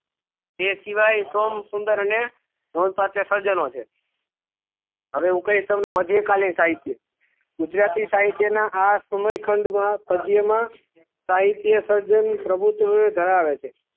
એ શિવાય સોમ સુંદર અને પાછા સર્જનો છે મધ્યે કાલીન સાહિત્ય છે ગુજરાતી સાહિત્ય ના આ સમય ખંડ ના ગધ્ય માં સાહિત્ય સર્જન પ્રભુત્વત ધરાવે છે